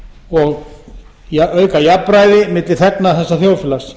og auka jafnræði milli þegna þessa þjóðfélags